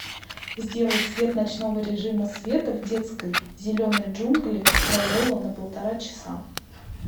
сделай цвет ночного режима света в детской зеленые джунгли крайола на полтора часа